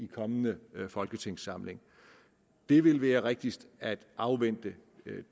kommende folketingssamling det vil være rigtigst at afvente